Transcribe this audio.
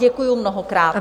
Děkuji mnohokrát.